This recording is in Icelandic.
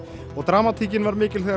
og dramatíkin var mikil þegar